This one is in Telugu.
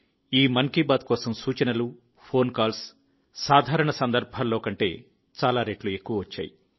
ఈ మన్ కీ బాత్ కోసం సూచనలు ఫోన్ కాల్స్ సాధారణ సందర్భాల్లో కంటే చాలా రెట్లు ఎక్కువగా వచ్చాయి